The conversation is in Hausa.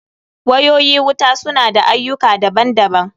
Wayoyi wuta su na da ayyuka daban daban.